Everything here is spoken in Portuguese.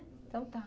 Então tá.